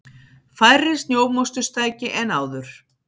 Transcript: Færri snjómoksturstæki en áður